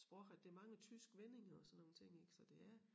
Sprog at der mange tyske vendinger og sådan nogle ting ik så det er